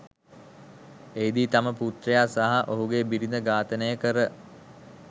එහිදී තම පුත්‍රයා සහ ඔහුගේ බිරිඳ ඝාතනය කර